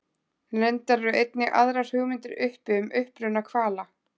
reyndar eru einnig aðrar hugmyndir uppi um uppruna hvala